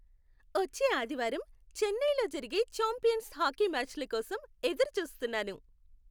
వచ్చే ఆదివారం చెన్నైలో జరిగే ఛాంపియన్స్ హాకీ మ్యాచ్ల కోసం ఎదురుచూస్తున్నాను.